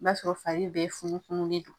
I b'a sɔrɔ f'a bɛ funufunun de